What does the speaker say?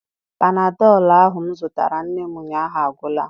Panadọlụ ahụ m zụtara nne m ụnyaahụ agwụla.